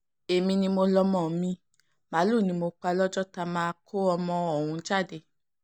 èmi ni mo lọ́mọ mi màálùú ni mo sì pa lọ́jọ́ tá a máa kó ọmọ ọ̀hún jáde